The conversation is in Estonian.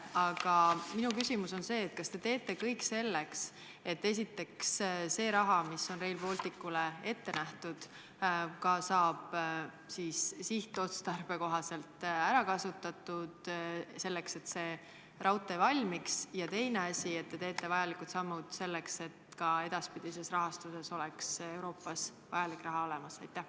Aga minu küsimus on selline: kas te teete kõik selleks, et esiteks see raha, mis on Rail Balticule ette nähtud, saaks raudtee valmimiseks sihtotstarbeliselt ära kasutatud, ja teiseks, kas te astute vajalikke samme, et ka edaspidi oleks Euroopas selle projekti rahastamiseks vajalik raha olemas?